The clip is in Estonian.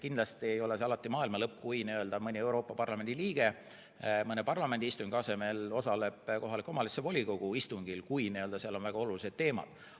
Kindlasti ei ole see alati maailma lõpp, kui mõni Euroopa Parlamendi liige mõne parlamendi istungi asemel osaleb kohaliku omavalitsuse volikogu istungil, kui seal on väga olulised teemad.